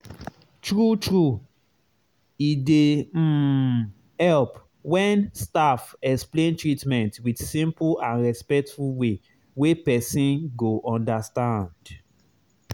true true e dey um help when staff explain treatment with simple and respectful way wey person go understand.